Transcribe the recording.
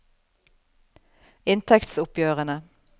inntektsoppgjørene